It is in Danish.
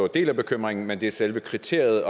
del af bekymringen men det er selve kriteriet